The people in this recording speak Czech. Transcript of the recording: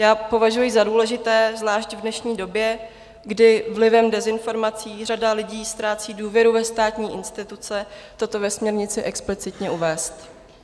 Já považuji za důležité zvlášť v dnešní době, kdy vlivem dezinformací řada lidí ztrácí důvěru ve státní instituce, toto ve směrnici explicitně uvést.